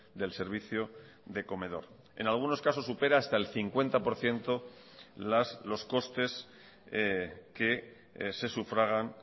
del servicio de comedor en algunos casos supera hasta el cincuenta por ciento los costes que se sufragan